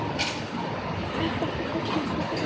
Finnst þér samt ekki augnsvipurinn.